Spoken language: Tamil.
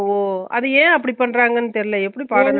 ஒ அது ஏன் அப்புடி பண்றாங்கன்னு தெரில எப்புடி பாடம்